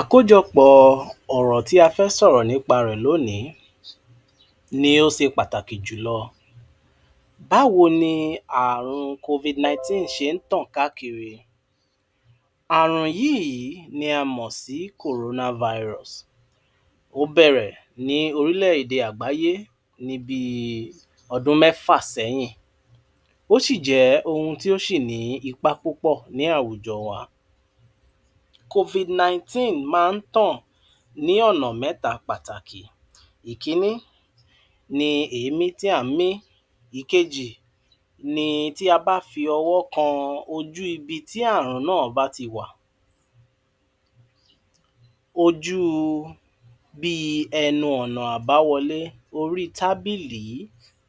Àkójọpọ̀tí a fẹ́ sọ̀rọ̀nípa rẹ̀lónìí ni ó ṣe pàtàkì jùlọ, báwo ni àrùn COVID-19 ṣe ntàn káàkiri Àrùn yii ni á mọ̀sí kòrónà váìrùs. Ó bẹ̀rẹ̀ní òrílẹ̀èdè àgbáyé níbíi odún mẹ́fà sẹ́yìn, ó sì jẹ́ ohun tí ó ní ipà púpọ̀ní àwujo wa. COVID-19 maa ntàn ní ọ̀nà mẹ́ta pàtàkì: ìkíní ni èémí tí ànmí, ìkéjì ni tí a bá fi ọwọ kan ojú ibi tí àrùn naa bá ti wà, ojú bíi ẹnu ọ̀nà àbáwolé, orí tábìlì,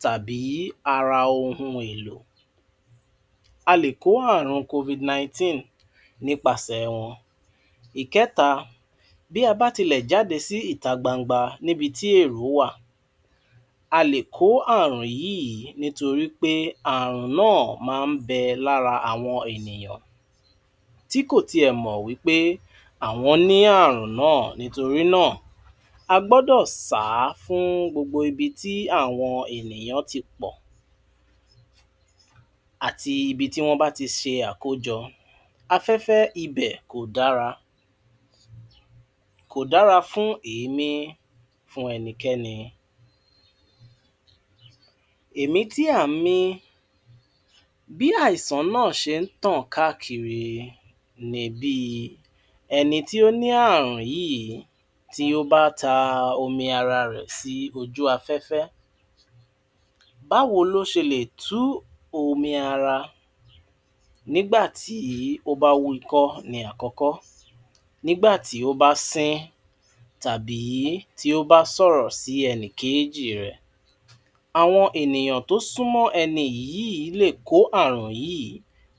tàbí ara ohun èlò. A lè kó àrùn COVID-19 nípasẹ̀ wọn. Ìkẹ́ta, bí a bá tílẹ̀jáde sí ìta gbangba níbití èrò wa, á lè kó àrùn yìí nítorípé, àrùn naa maa nbẹ lára àwọn ènìyàn tí kò tí ẹ̀mọ̀wípé àwọn ní àrùn naa. Nítorí naa, a gbọ́dọ̀ sàá fún gbogbo ibi tí àwọn ènìyàn tí pọ̀àti ibítí wọ́n bá ti ṣe àkójọ, afẹ́fẹ́ íbẹ̀kò dára, kò dára fún èémí, fún ẹnikẹ́ni. È mí tí à nmí, bí àìsàn naa ṣe ntàn káàkiri ni bí ẹnití ó ní àrùn yìí tí ó ba ta omi ara rẹ̀sí ojú afẹ́fẹ́. Báwo lo ṣe lè tú omi ara Nígbà tí ó bá wú ikọ́ ni àkọ́kọ́, nígbà tí ó bá sín tàbí ti o ba sọ̀rọ̀ sí ẹ́nì kejì rẹ̀. Àwọn ènìyàn tí ó súnmọ́ ẹni yìí lè kó àrùn yìí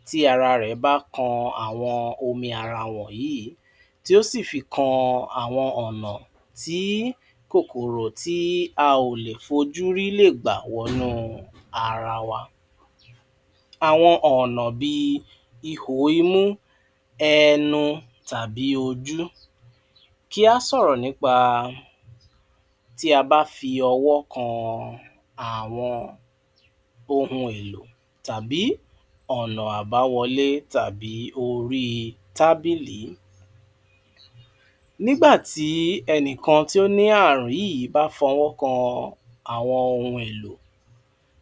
tí ara rẹ̀bá kan àwọn omi ara wọǹyii tí ó sì fi kan àwọn ọ̀nà tí kòkòrò tí a ò lè fojúrí lè gbà wọnú ara wa. Àwọn ọ̀nà bíi íhò imú, ẹnu tàbí ojú. Kí á sọ̀rọ̀nípa tí a bá fi ọwọ kan àwọn ohun èlò tàbí ọ̀nà àbáwolé tàbí orí tábìlì. Nígbà tí ènìkàn tí ó ní àrùn yìí bá fọwọ́ kan àwọn ohun èlò,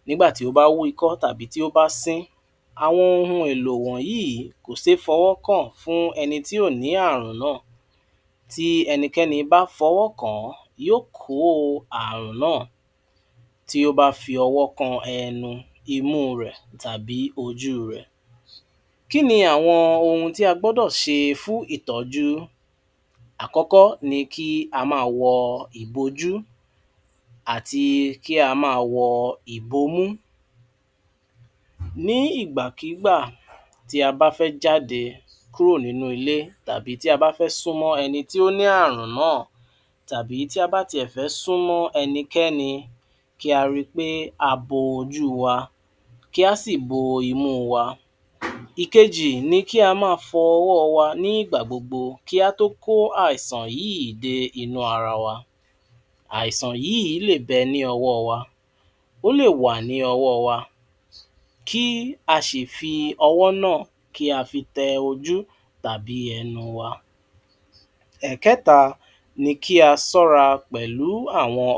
nígbà tí ó bá wú ikọ́ tàbí nígbà tí ó bá sín, àwọn ohun èlò wọ̀nyíì kò séé fọwọ kàn fún ẹni tí kò ní àrùn náà. Tí ẹnikẹ́ni bá fọwọ́ kàn án, yó kò àrùn náà tí ó bá fi owo kan ẹnu, imú rẹ̀ tàbí ojú rẹ̀. Kíni àwọ́n ohun tí a gbọ́dọ̀ṣe fun ìtọ́jú Àkọ́kọ́ ni kí á máa wọ ìbojú, àti kí á máa wọ ìbomú, ní ìgbà kí gbà tí a bá fẹ́ jáde kúrò nínú ilé, tàbí tí a bá fẹ́ súnmọ́ ẹni tí ó ní àrùn náà, tàbí tí a bá tí ẹ̀fẹ́ súnmọ́ ẹni kẹ́ni, kí á ri pé a bo ojú wa, kí á sì bo imú wa. Ìkéjì ni kí á máa fọ ọwọ wa nígbà gbogbo kí á tó kó àìsàn yíì dé inú ara wa. Àìsàn yíì lè bẹ ní ọwọ wa, ó lè wà ní ọwọ wa kí á sì fi ọwọ náà tẹ ojú tàbí ẹnu wa. Ẹ̀kẹta ní kí á máa sọ́ra pẹ̀lú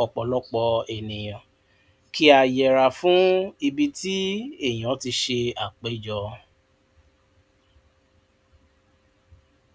ọ̀pọ̀lọ́pọ̀ àwọn ènìyàn, kí á yẹra fún ibi tí ènìyàn tí ṣe àpéjọ,